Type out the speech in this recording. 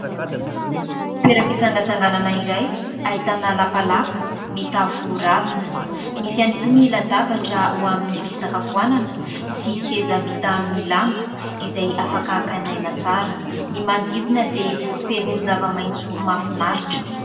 Toeram-pitsangatsanganana iray, ahitana lapalapa mitafo ravina, misy ihany koa ny latabatra ho amin'ny fisakafoanana sy seza vita amin'ny lamba izay afaka hakàna aina tsara, ny manodidina dia feno zava-maitso mahafinaritra.